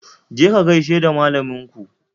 Je ka ka gaishe da malaminku